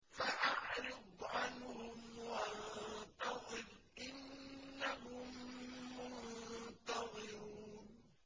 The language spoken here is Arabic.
فَأَعْرِضْ عَنْهُمْ وَانتَظِرْ إِنَّهُم مُّنتَظِرُونَ